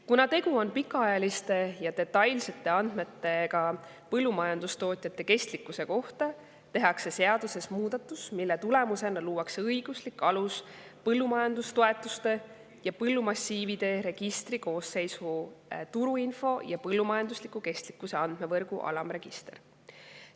Kuna tegu on pikaajaliste ja detailsete andmetega põllumajandustootjate kestlikkuse kohta, tehakse seaduses muudatus, mille tulemusena luuakse õiguslik alus põllumajandustoetuste ja põllumassiivide registri koosseisus turuinfo ja põllumajandusliku kestlikkuse andmevõrgu alamregistri jaoks.